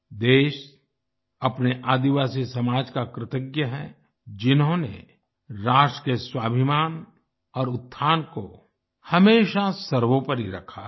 देश अपने आदिवासी समाज का कृतज्ञ है जिन्होंने राष्ट्र के स्वाभिमान और उत्थान को हमेशा सर्वोपरि रखा है